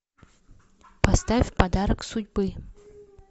поставь подарок судьбы